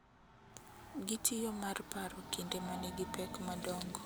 Gitiyo mar paro kinde manigi pek madongo,